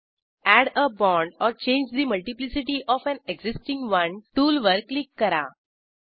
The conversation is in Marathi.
add a bond or change the multiplicity of an existing one टूलवर क्लिक करा